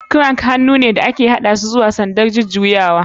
Crank hannu ne da aka haɗe a kusurwar dama zuwa sandar jujjuyawar.